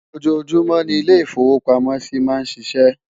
ọjọ júmò ní ilè ifowo pàmò sí má n ṣíṣe